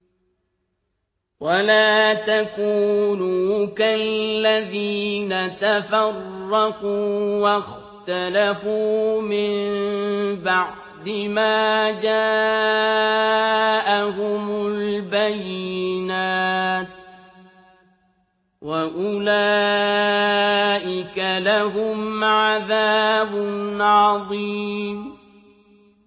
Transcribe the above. وَلَا تَكُونُوا كَالَّذِينَ تَفَرَّقُوا وَاخْتَلَفُوا مِن بَعْدِ مَا جَاءَهُمُ الْبَيِّنَاتُ ۚ وَأُولَٰئِكَ لَهُمْ عَذَابٌ عَظِيمٌ